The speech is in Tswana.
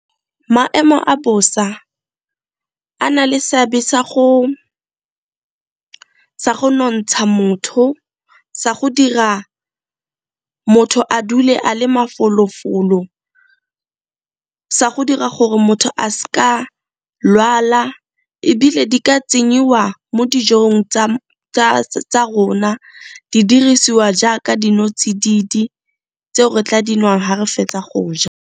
Maemo a bosa a na le seabe sa go nontsha motho, sa go dira motho a dule a le mafolofolo, sa go dira gore motho a s'ka lwala, ebile di ka tsenyiwa mo dijong tsa rona di dirisiwa jaaka dinotsididi tseo re tla di nwang ga re fetsa go ja.